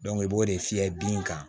i b'o de fiyɛ bin kan